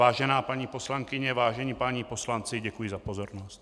Vážená paní poslankyně, vážení páni poslanci, děkuji za pozornost.